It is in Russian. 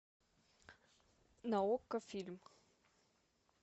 на окко фильм